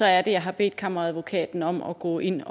er det jeg har bedt kammeradvokaten om at gå ind